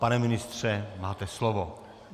Pane ministře, máte slovo.